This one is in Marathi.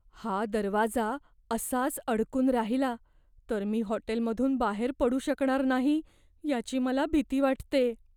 हा दरवाजा असाच अडकून राहिला तर मी हॉटेलमधून बाहेर पडू शकणार नाही याची मला भीती वाटते.